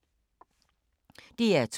DR2